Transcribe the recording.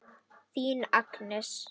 Þín Agnes.